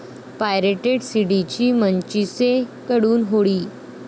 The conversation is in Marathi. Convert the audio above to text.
पायरेटेड सीडींची 'मनचिसे'कडून होळी